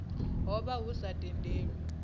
ho vha hu sa tendelwi